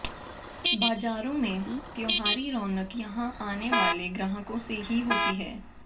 बाजारों में त्योहारी रौनक यहां आने वाले ग्राहकों से ही होती है